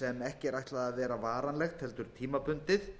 sem ekki er ætlað að vera varanlegt heldur tímabundið